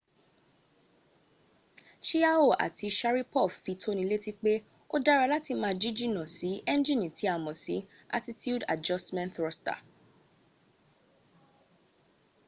chiao àti sharipov fi tónilétí pé ó dára láti jíjìnà sí ẹnjìni tí a mọ̀ sí attitude adjustment thruster